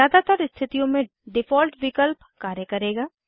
ज़्यादातर स्थितियों में डिफ़ॉल्ट विकल्प कार्य करेगा